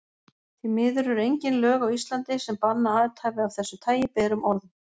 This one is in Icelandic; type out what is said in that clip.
Því miður eru engin lög á Íslandi, sem banna athæfi af þessu tagi berum orðum.